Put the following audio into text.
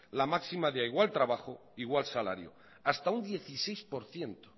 la máxima de a igual trabajo igual salario hasta un dieciséis por ciento